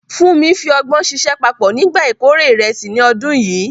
Funmi fi ọgbọ́n ṣiṣẹ́ papọ̀ nígbà ìkórè ìrẹsì ní ọdún yìí.